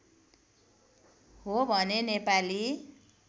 हो भने नेपाली